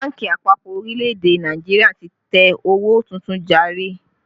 Bánkì àpapọ̀ orílẹ̀ èdè Nàìjíríà ti tẹ owó tuntun jàre